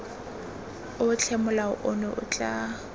otlhe molao ono o tla